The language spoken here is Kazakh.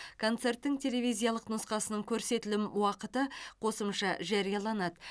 концерттің телевизиялық нұсқасының көрсетілім уақыты қосымша жарияланады